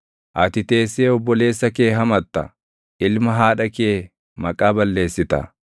Ati teessee obboleessa kee hamatta; ilma haadha kee maqaa balleessita.